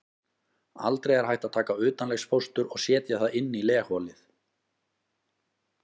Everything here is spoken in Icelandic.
Aldrei er hægt að taka utanlegsfóstur og setja það inn í legholið.